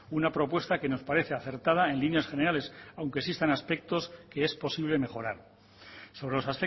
una propuesta que nos parece acertada en líneas generales aunque existan aspectos que es posible mejorar sobre los